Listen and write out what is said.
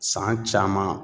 San caman